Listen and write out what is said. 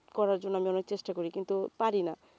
করার জন্য আমি অনেক চেষ্টা করি কিন্তু পারিনা